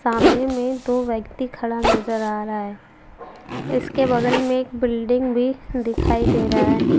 सामने में दो व्यक्ति खड़ा नजर आ रहा है उसके बगल में एक बिल्डिंग भी दिखाई दे रहा है।